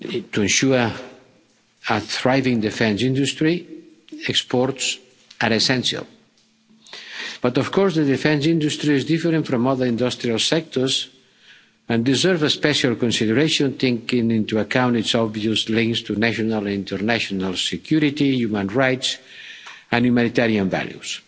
To ensure a thriving defence industry, exports are essential, but of course the defence industry is different from other industrial sectors and deserves special consideration, taking into account its obvious links to national and international security, human rights and humanitarian values.